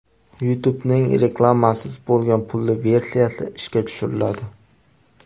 YouTube’ning reklamasiz bo‘lgan pulli versiyasi ishga tushiriladi.